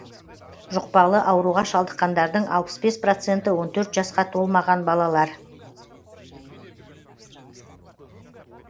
жұқпалы ауруға шалдыққандардың алпыс бес проценті он төрт жасқа толмаған балалар